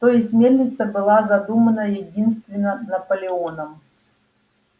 то есть мельница была задумана единственно наполеоном